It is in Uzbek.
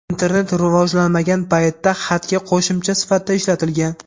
internet rivojlanmagan paytda xatga qo‘shimcha sifatida ishlatilgan.